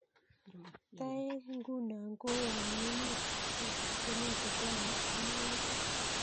Toek nguno kowoni emetab Kenya kobwoni ak magutik